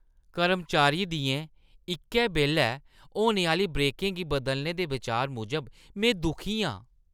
कर्मचारियें दियें इक्कै बेल्लै होने आह्‌ली ब्रेकें गी बदलने दे बचार मूजब में दुखी आं ।